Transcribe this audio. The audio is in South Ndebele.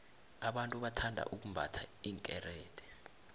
abantu bathanda ukumbatha iinkerede